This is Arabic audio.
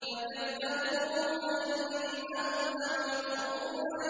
فَكَذَّبُوهُ فَإِنَّهُمْ لَمُحْضَرُونَ